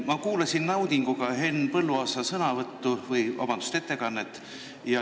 Ma kuulasin naudinguga Henn Põlluaasa sõnavõttu või, vabandust, ettekannet.